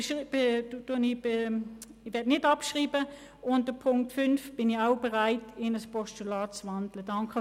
Ich bin auch bereit, die Ziffer 5, in ein Postulat zu wandeln.